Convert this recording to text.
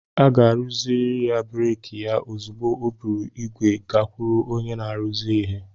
A ga-arụzi breeki ya ozugbo o buru ígwè gakwuru onye na-arụzi ihe